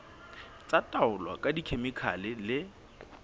tsa taolo ka dikhemikhale le